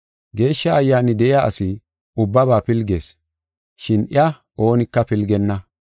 Geeshsha Ayyaani de7iya asi ubbaba pilgees, shin iya oonika pilgenna.